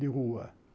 De rua.